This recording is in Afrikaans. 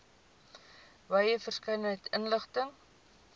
wye verskeidenheid inligting